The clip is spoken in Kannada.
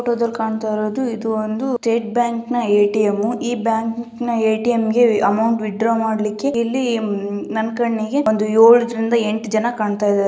ಫೋಟೋ ದಲ್ಲಿ ಕಾಣ್ತಾ ಇರೋದು ಇದು ಒಂದು ಸ್ಟೇಟ್ ಬ್ಯಾಂಕ್ನ್ ಎ. ಟಿ. ಎಂ ಈ bank A T. M amount withdraw ಮಾಡ್ಲಿಕ್ಕೆ ಇಲ್ಲಿ ನನ್ ಕಣ್ಣಿಗೆ ಏಳು ಎಂಟು ಜನ ಕಾಣ್ತಾ ಇದ್ದಾರೆ.